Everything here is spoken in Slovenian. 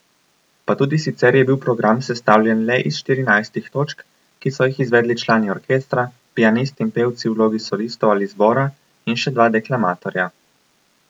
Pa tudi sicer je bil program sestavljen le iz štirinajstih točk, ki so jih izvedli člani orkestra, pianist in pevci v vlogi solistov ali zbora in še dva deklamatorja.